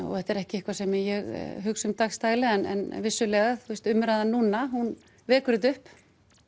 þetta er ekki eitthvað sem ég hugsa um dagsdaglega en vissulega umræðan núna hún vekur þetta upp